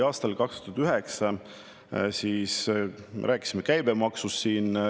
Aastal 2009 me rääkisime ka käibemaksust.